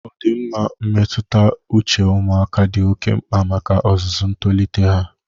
Ọdịmma mmetụta uche ụmụaka dị oke mkpa maka ozuzu ntolite ha.